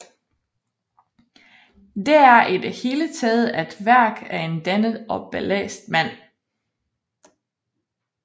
Det er i det hele taget et værk af en dannet og belæst mand